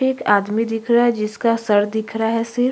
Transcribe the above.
एक आदमी दिख रहा हैं जिसका सिर दिख रहा हैं सिर--